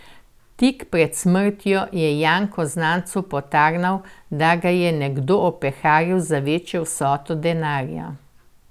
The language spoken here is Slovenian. Tik pred smrtjo je Janko znancu potarnal, da ga je nekdo opeharil za večjo vsoto denarja.